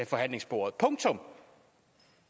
forhandlingsbordet punktum